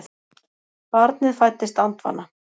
Barnið fæddist andvana